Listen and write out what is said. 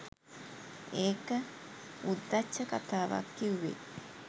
ඒක උද්දච්ච කතාවක් කිව්වේ.